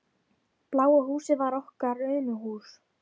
Bláa húsið var okkar Unuhús.